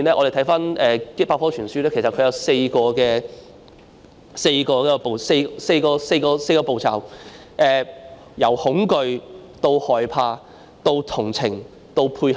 根據百科全書所述，斯德哥爾摩症候群有4個步驟：由恐懼、害怕、同情，到配合。